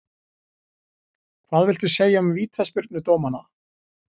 Hvað viltu segja um vítaspyrnudómana?